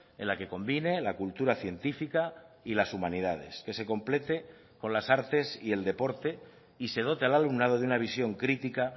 en la que combine la cultura científica y las humanidades que se complete con las artes y el deporte y se dote al alumnado de una visión crítica